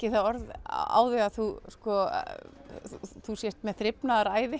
það orð á þig að þú þú sért með